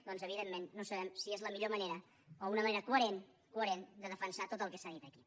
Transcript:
doncs evidentment no sabem si és la millor manera o una manera coherent coherent de defensar tot el que s’ha dit aquí